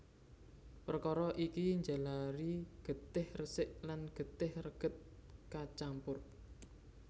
Perkara iki njalari getih resik lan getih reget kacampur